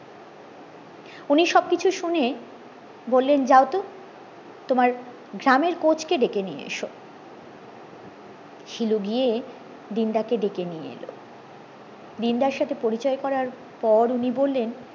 উনি সবকিছু শুনে বললেন যাও তো তোমার গ্রামের কোচ কে ডেকে নিয়ে এসো শিলু গিয়ে দিন দা কে ডেকে নিয়ে এলো দিন দা সাথে পরিচয় করার পর উনি বললেন